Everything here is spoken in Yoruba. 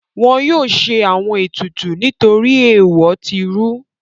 Wọn yóò ṣe àwọn ètùtù nítorí èèwọ̀ tí rú.